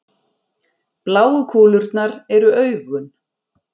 bláu kúlurnar eru augun